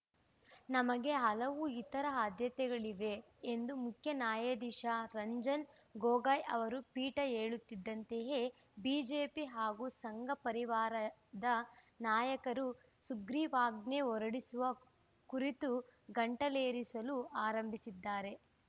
ನಮಗೆ ಹಲವು ಇತರ ಆದ್ಯತೆಗಳಿವೆ ಎಂದು ಮುಖ್ಯ ನ್ಯಾಯಾಧೀಶ ರಂಜನ್‌ ಗೊಗೋಯ್‌ ಅವರ ಪೀಠ ಹೇಳುತ್ತಿದ್ದಂತೆಯೇ ಬಿಜೆಪಿ ಹಾಗೂ ಸಂಘಪರಿವಾರದ ನಾಯಕರು ಸುಗ್ರೀವಾಜ್ಞೆ ಹೊರಡಿಸುವ ಕುರಿತು ಗಂಟಲೇರಿಸಲು ಆರಂಭಿಸಿದ್ದಾರೆ